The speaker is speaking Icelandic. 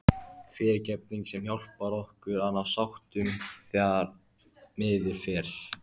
FYRIRGEFNING- sem hjálpar okkur að ná sáttum þegar miður fer.